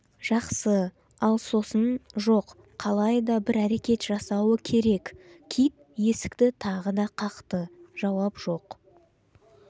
жақсы ал сосын жоқ қалайда бір әрекет жасауы керек кит есікті тағы да қақты жауап жоқ